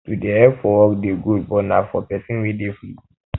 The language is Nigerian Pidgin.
to dey help for work dey good but na for pesin wey dey free